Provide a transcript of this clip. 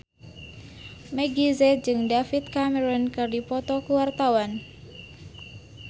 Meggie Z jeung David Cameron keur dipoto ku wartawan